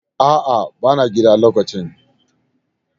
A'a bana gida lokacin